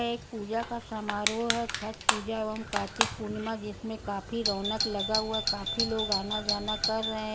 एक पूजा का समारोह है | छट पूजा एवम कार्तिक पूर्णिमा जिसमे काफी रौनक लगा हुआ काफी लोग आना जाना कर रहे --